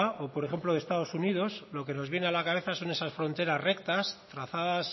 o por ejemplo de estados unidos lo que nos viene a la cabeza son esas fronteras rectas trazadas